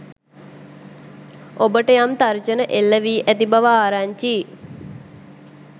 ඔබට යම් තර්ජන එල්ල වී ඇති බව ආරංචියි.